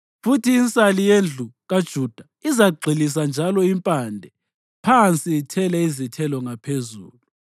Futhi insali yendlu kaJuda izagxilisa njalo impande phansi ithele izithelo ngaphezulu.